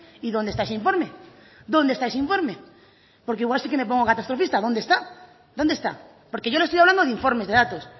y dónde está ese informe dónde está ese informe porque igual sí que me pongo catastrofista dónde está dónde está porque yo le estoy hablando de informes de datos